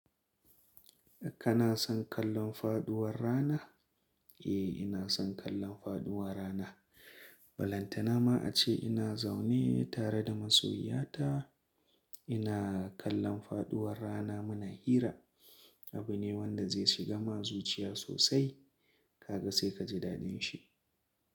Kana son kallon faɗuwar rana? Eh, ina son kallon faɗuwar rana. Balantana ma a ce ina zaune tare da masoyiya ta ina kallon faɗuwar rana. Muna hira. Abu ne wanda zai shiga ma zuciya sosai. Kaga sai ka ji daɗin shi.